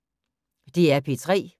DR P3